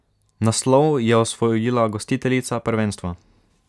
Naslov je osvojila gostiteljica prvenstva.